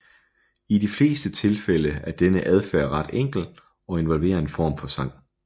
I de fleste tilfælde er denne adfærd ret enkel og involverer en form for sang